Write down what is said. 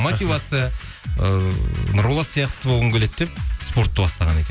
мотивация ыыы нұрболат сияқты болғым келеді деп спортты бастаған екен